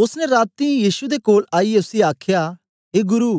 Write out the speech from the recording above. ओसने राती यीशु दे कोल आईयै उसी आखया ए गुरु